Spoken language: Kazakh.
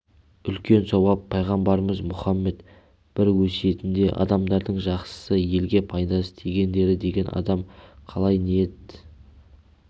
үлкен сауап пайғамбарымыз мұхаммед бір өсиетінде адамдардың жақсысы елге пайдасы тигендері деген адам қалай ниет